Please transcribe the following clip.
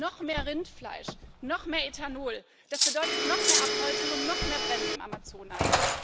Noch mehr Rindfleisch, noch mehr Ethanol das bedeutet noch mehr Abholzung und noch mehr Brände im Amazonas.